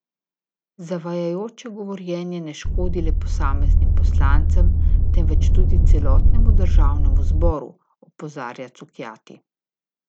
Zavajajoče govorjenje ne škodi le posameznim poslancem, temveč tudi celotnemu državnemu zboru, opozarja Cukjati.